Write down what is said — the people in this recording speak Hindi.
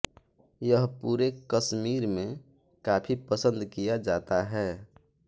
यह पूरे कश्मीर में काफी पसन्द किया जाता है